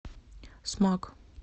смак